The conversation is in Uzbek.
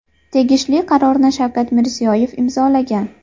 Tegishli qarorni Shavkat Mirziyoyev imzolagan.